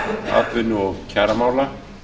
atvinnu og kjaramála